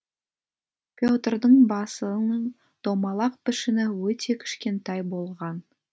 петрдің басының домалақ пішіні өте кішкентай болған